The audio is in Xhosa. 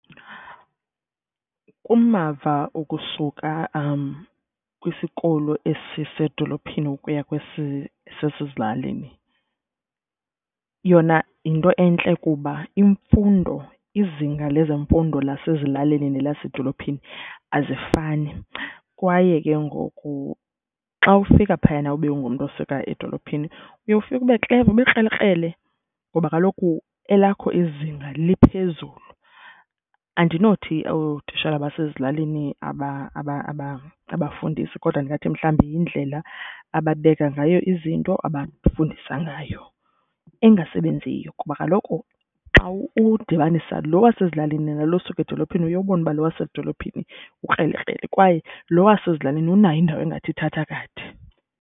Kumava okusuka kwisikolo esisedolophini ukuya kwesi sisezilalini yona yinto entle kuba imfundo, izinga lezemfundo lasezilalini nelasedolophini azifani kwaye ke ngoku xa ufika phayana ube ungumntu osuka edolophini uye ufike ubekleva, ubukrelekrele ngoba kaloku elakho izinga liphezulu. Andinothi ootishala basezilalini abafundisi kodwa ndingathi mhlawumbi yindlela ababeka ngayo izinto, abafundisa ngayo engasebenziyo. Kuba kaloku xa udibanisa lo wasezilalini nalo usuka edolophini, uye ubone uba lo wasezidolophini ukrelekrele kwaye lo wasezilalini unayo indawo engathi ithatha kade.